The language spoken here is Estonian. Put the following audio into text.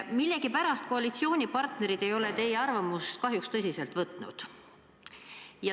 Millegipärast koalitsioonipartnerid ei ole teie arvamust kahjuks tõsiselt võtnud.